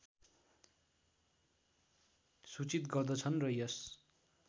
सूचित गर्दछन् र यस